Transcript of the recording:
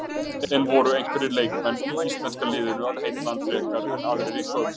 En voru einhverjir leikmenn í íslenska liðinu að heilla hann frekar en aðrir í kvöld?